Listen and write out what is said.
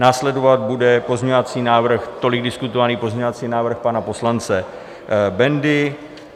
Následovat bude pozměňovací návrh, tolik diskutovaný pozměňovací návrh pana poslance Bendy.